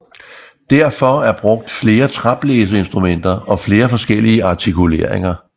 Derfor er brugt flere træblæseinstrumenter og flere forskellige artikuleringer